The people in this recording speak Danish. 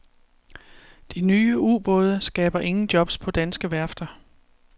De nye ubåde skaber ingen jobs på danske værfter.